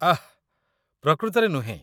ଆଃ, ପ୍ରକୃତରେ ନୁହେଁ।